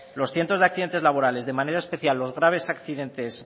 los cientos de accidentes laborales de manera especial los graves accidentes